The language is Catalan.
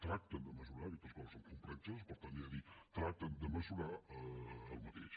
tracten de mesurar aques·tes coses són complexes per tant ja ho dic tracten de mesurar el mateix